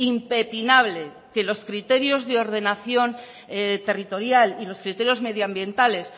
impepinable que los criterios de ordenación territorial y los criterios medioambientales